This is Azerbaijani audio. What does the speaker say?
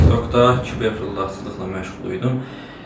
TikTokda kibeflullaçılıqla məşğul idim.